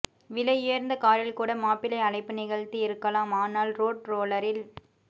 விலையுயர்ந்த காரில் கூட மாப்பிளை அழைப்பு நிகழ்த்தி இருக்கலாம் ஆனால் ரோட் ரோலரில்